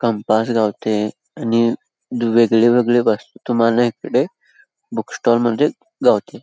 campus गावताय आणि वेगवेगळे तुम्हाला इकडे बूक स्टॉल मध्ये गावते|